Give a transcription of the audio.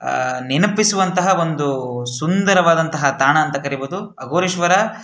ಆಹ್ಹ್ ನೆನಪಿಸುವಂಥ ಒಂದು ಸುಂದರವಾದ ನಂಥ ತಾಣ ಅಂತ ಕರೀಬಹುದು ಅಘೋರೇಶ್ವರ --